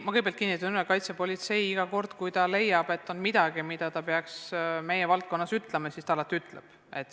Ma kõigepealt kinnitan veel üle, et iga kord, kui kaitsepolitsei leiab, et on midagi, mida ta peaks meie valdkonnas ütlema, ta ütleb.